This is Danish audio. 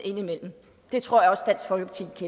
det tror